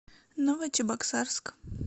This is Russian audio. новочебоксарск